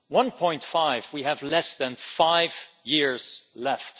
One point five degrees, we have less than five years left.